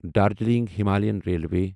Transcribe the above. Darjeeling Himalayan railway